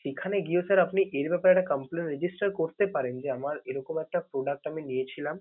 সেখানে গিয়েও sir আপনি এ ব্যাপারে একটা complain করতে পারেন যে আমার এরকম একটা product আমি নিয়েছিলাম।